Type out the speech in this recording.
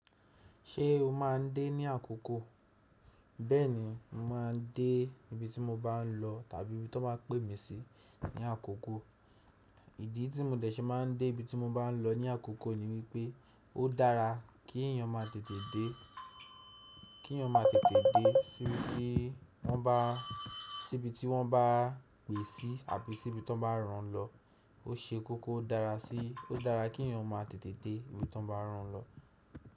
Ṣé o máa ń dé ní àkókò? Bẹ́ẹ̀ni, mo máa ń dé ibi tí mo bá ń lọ tàbí ibi tó baa pè mí sí ní àkókò. Ìdí tí mò ń dẹ̀ ṣe máa ń dé ibi tí mo bá ń lọ ní àkókò ni wípé ó dára kí èèyàn máa tètè dé sí ibi tí wọ́n bá pè sí àbí sí ibi tó bá rán lọ. Ó ṣe kókó dára sí, ó dára kí èèyàn máa tètè dé ibi tó bá rán lọ.